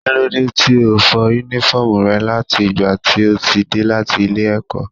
Kílódé tí o ò fọ Únífọ́ọ̀mù rẹ láti ìgbà tí o ti dé láti ilé-ẹ̀kọ́?